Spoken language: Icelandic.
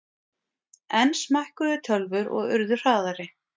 Enn smækkuðu tölvur og urðu hraðari.